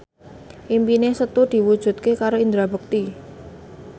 impine Setu diwujudke karo Indra Bekti